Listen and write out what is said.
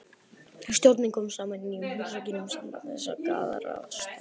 Stjórnin kom saman í nýjum húsakynnum sambandsins að Garðastræti